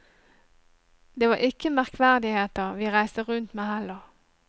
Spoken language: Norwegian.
Det var ikke merkverdigheter vi reiste rundt med heller.